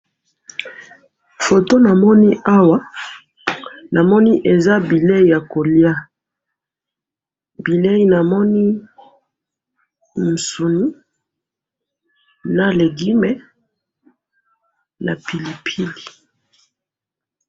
Foto namoni awa, namoni eza bileyi yakoliya, bileyi namoni eza musuni, na legume, na pilipili.